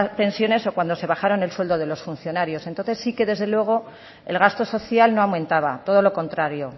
pensiones o cuando se bajaron el sueldo de los funcionarios entonces sí que desde luego el gasto social no aumentaba todo lo contrario